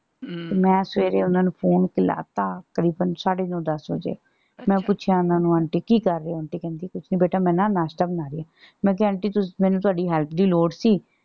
ਮੈਂ ਸਵੇਰੇ ਓਹਨੂੰ ਨੂੰ phone ਮਿਲਾ ਤਾ ਤਕਰੀਬਨ ਸਾਡੇ ਨੌ ਦੱਸ ਵਜੇ। ਮੈਂ ਪੁੱਛਿਆ ਓਹਨਾ ਨੂੰ ਆਂਟੀ ਕੀ ਕਰ ਰਹੇ ਹੋ? ਆਂਟੀ ਕਹਿੰਦੀ ਕੁਛ ਨੀ ਬੇਟਾ ਮੈਂ ਨਾ ਨਾਸ਼ਤਾ ਬਣਾ ਰਹੀ। ਮੈਂ ਕਿਹਾ ਆਂਟੀ ਤੁਸੀਂ ਮੈਨੂੰ ਤੁਹਾਡੀ help ਦੀ ਲੋੜ ਸੀ।